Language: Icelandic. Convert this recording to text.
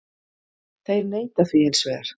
Þeir neita því hins vegar